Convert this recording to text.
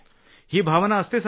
ही सर्वांची भावना असते का